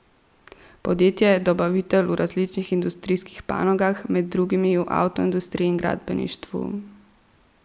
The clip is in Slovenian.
Podjetje je dobavitelj v različnih industrijskih panogah, med drugim v avtoindustriji in gradbeništvu.